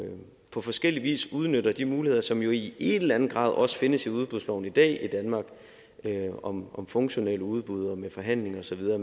på forskellig vis udnytter de muligheder som jo i en eller anden grad også findes i udbudsloven i dag i danmark om om funktionelle udbud og med forhandling og så videre